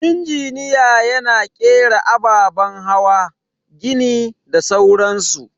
Injiniya yana kera ababen hawa, gini da sauran su.